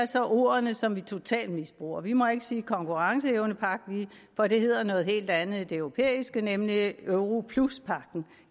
så om ordene som vi totalt misbruger vi må ikke sige konkurrenceevnepagt for det hedder noget helt andet i det europæiske nemlig europluspagten